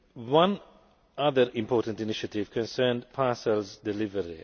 One other important initiative concerned parcels delivery.